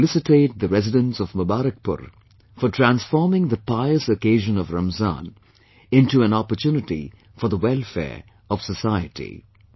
I felicitate the residents of Mubarakpur, for transforming the pious occasion of Ramzan into an opportunity for the welfare of society on